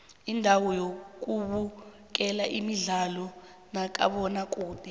indawo zokubukela imidlalo kamabona kude